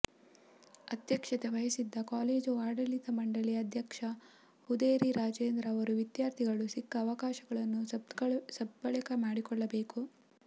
ಅಧ್ಯಕ್ಷತೆ ವಹಿಸಿದ್ದ ಕಾಲೇಜು ಆಡಳಿತ ಮಂಡಳಿ ಅಧ್ಯಕ್ಷ ಹುದೇರಿ ರಾಜೇಂದ್ರ ಅವರು ವಿದ್ಯಾರ್ಥಿಗಳು ಸಿಕ್ಕ ಅವಕಾಶವನ್ನು ಸದ್ಬಳಕೆ ಮಾಡಿಕೊಳ್ಳಬೇಕು